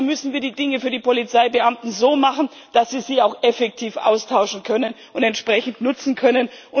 Also müssen wir die Dinge für die Polizeibeamten so machen, dass sie sie auch effektiv austauschen und entsprechend nutzen können.